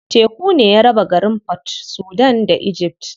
Teku ne ya raba garin Port Sudan da Egypt.